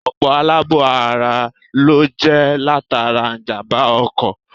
Ọ̀pọ̀ àlàbò-ara ló jẹ́ latara ìjàmbá-ọkọ̀.